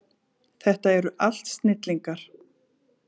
Þetta eru allt snillingar.